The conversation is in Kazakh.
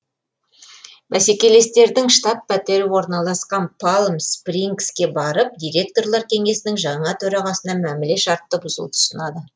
бәсекелестердің штаб пәтері орналасқан палм спрингске барып директорлар кеңесінің жаңа төрағасына мәміле шартты бұзуды ұсынады